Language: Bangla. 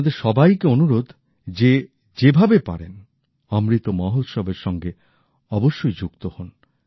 আপনাদের সবাইকে অনুরোধ যে যেভাবে পারেন অমৃত মহোৎসবের সঙ্গে অবশ্যই যুক্ত হোন